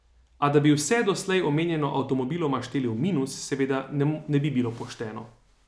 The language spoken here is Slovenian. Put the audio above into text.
A da bi vse doslej omenjeno avtomobiloma šteli v minus, seveda ne bi bilo pošteno.